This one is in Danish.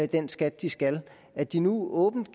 den skat de skal at de nu åbnet